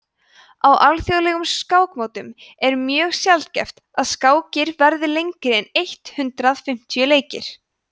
á alþjóðlegum skákmótum er mjög sjaldgæft að skákir verði lengri en eitt hundruð fimmtíu leikir